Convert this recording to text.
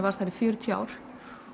var þar í fjörutíu ár